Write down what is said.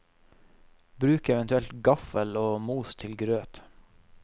Bruk eventuelt gaffel og mos til grøt.